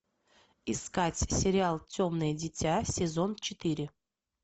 искать сериал темное дитя сезон четыре